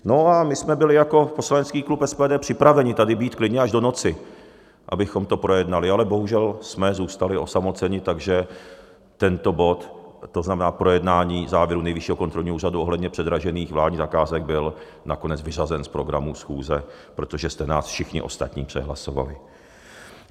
No a my jsme byli jako poslanecký klub SPD připraveni tady být klidně až do noci, abychom to projednali, ale bohužel jsme zůstali osamoceni, takže tento bod, to znamená projednání závěrů Nejvyššího kontrolního úřadu ohledně předražených vládních zakázek, byl nakonec vyřazen z programu schůze, protože jste nás všichni ostatní přehlasovali.